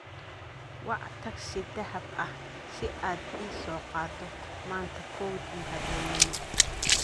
wac tagsi dahab ah si aad ii soo qaado maanta kowdii habeenimo